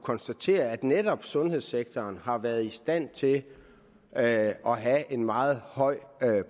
konstatere at netop sundhedssektoren har været i stand til at have en meget høj